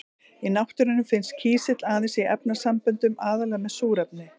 Í náttúrunni finnst kísill aðeins í efnasamböndum, aðallega með súrefni.